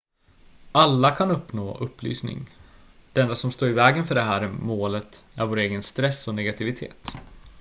alla kan uppnå upplysning det enda som står i vägen för det här målet är vår egen stress och negativitet